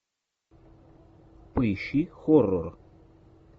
поищи хоррор